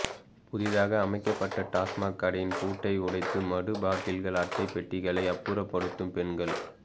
புதிதாக அமைக்கப்பட்ட டாஸ்மாக் கடையின் பூட்டை உடைத்து மது பாட்டில்கள் அட்டை பெட்டிககளை அப்புறப்படுத்தும் பெண்கள்